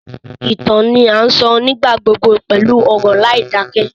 Ìtàn ni a sọ nígbà gbogbo pẹlu ọ̀rọ̀ láìdakẹ